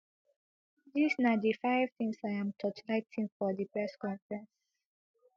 dis na di five tins im torchlight for di press conference